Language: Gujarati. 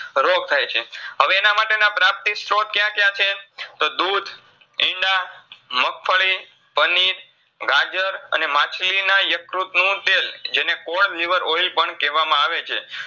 રોગ થાયછે. હવે એનામાટેના પ્રાપ્તિ સ્ત્રોત ક્યા ક્યા છે તો દૂધ, ઈંડા, મગફળી, પનીર, ગાજર, અને માછલીના યકૃતનું તેલ જેને liver oil પણ કેવામાં આવેછે.